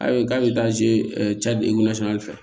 Ayi k'a bɛ taa ze fɛ